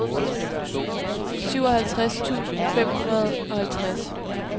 syvoghalvtreds tusind fem hundrede og halvtreds